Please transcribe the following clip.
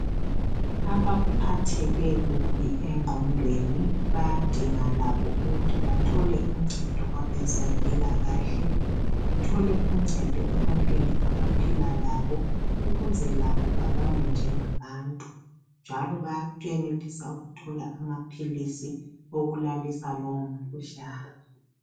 Abaphatheke kubi engqondweni bayadinga labo ukuthi bathole uncedo kwabezempilakahle, bathole uncedo ebantwini abaphila labo ukuze labo babalwe njengabantu njalo baya yanelisa ukuthola amaphilisi okulalisa lowomkhuhlane.